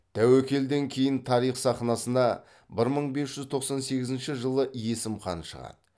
тәуекелден кейін тарих сахнасына бір мың бес жүз тоқсан сегізінші жылы есім хан шығады